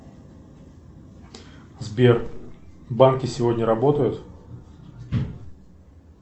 сбер банки сегодня работают